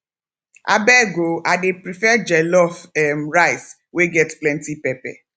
abeg o i dey prefer jollof um rice wey get plenty pepper